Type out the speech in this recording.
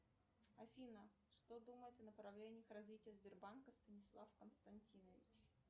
афина что думает о направлениях развития сбербанка станислав константинович